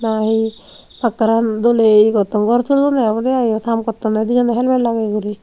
ahi pattoran doley ye gotton gor tullonde obowde aai yot haam gottonde dijon helmet lageye gori.